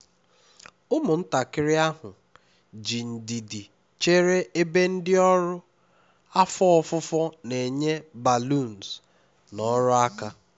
ụmụntakịrị ahụ ji ndidi chere ebe ndị ọrụ afọ ofufo na-enye balloons na ọrụ aka